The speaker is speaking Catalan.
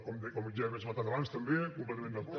com ja hem esmentat abans també completament d’acord